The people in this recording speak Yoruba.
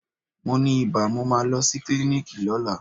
Mo ni ibà, mo máa lọ sí klíníkì lọ́la.